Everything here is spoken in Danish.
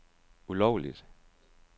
ulovligt